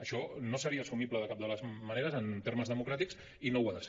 això no seria assumible de cap de les maneres en termes democràtics i no ho ha de ser